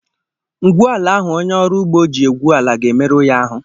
Ngwu ala ahụ onye ọrụ ugbo ji egwu ala ga-emerụ ya ahụ.